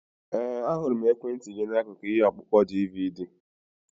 Ee, ahụrụ m ekwentị gị n'akụkụ ihe ọkpụkpọ DVD.